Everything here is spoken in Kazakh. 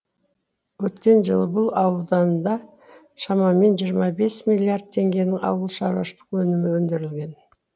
өткен жылы бұл ауданда шамамен жиырма бес миллиард теңгенің ауылшаруашылық өнімі өндірілген